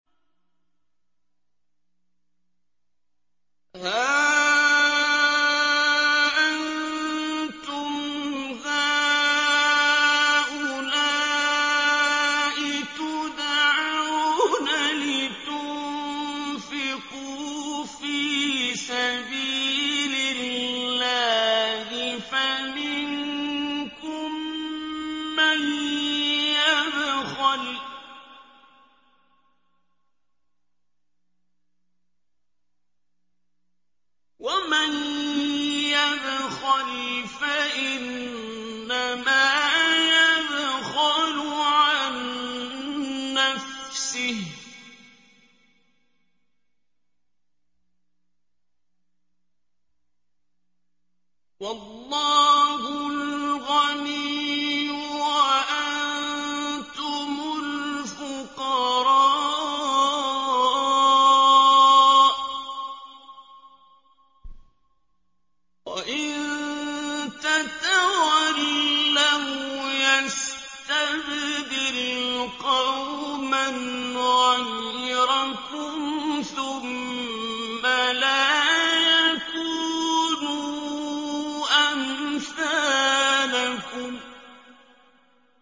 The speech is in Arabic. هَا أَنتُمْ هَٰؤُلَاءِ تُدْعَوْنَ لِتُنفِقُوا فِي سَبِيلِ اللَّهِ فَمِنكُم مَّن يَبْخَلُ ۖ وَمَن يَبْخَلْ فَإِنَّمَا يَبْخَلُ عَن نَّفْسِهِ ۚ وَاللَّهُ الْغَنِيُّ وَأَنتُمُ الْفُقَرَاءُ ۚ وَإِن تَتَوَلَّوْا يَسْتَبْدِلْ قَوْمًا غَيْرَكُمْ ثُمَّ لَا يَكُونُوا أَمْثَالَكُم